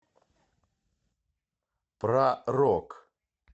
про рок